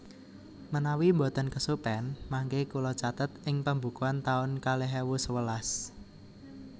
Menawi mboten kesupen mangke kula catet ing pembukuan taun kalih ewu sewelas